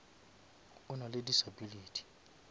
o nale disability